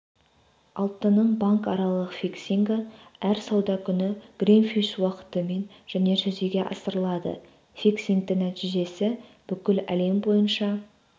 алтынның банкаралық фиксингі әр сауда күні гринвич уақытымен және жүзеге асырылады фиксингтің нәтижесі бүкіл әлем бойынша